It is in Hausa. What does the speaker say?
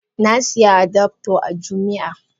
Na siya adaptor a jumia.